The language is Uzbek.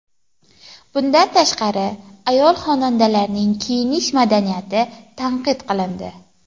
Bundan tashqari, ayol-xonandalarning kiyinish madaniyati tanqid qilindi.